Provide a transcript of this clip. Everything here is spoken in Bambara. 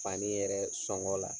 Fani yɛrɛ sɔngɔ la